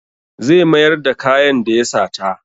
Zai mayar da kayan da ya sata.